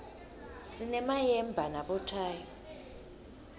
sinemayemba nabothayi